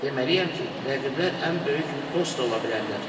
Deməliyəm ki, rəqiblər ən böyük dost da ola bilərlər.